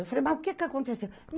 Eu falei, mas o que que aconteceu?